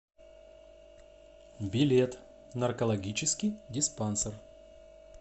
билет наркологический диспансер